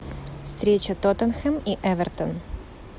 встреча тоттенхэм и эвертон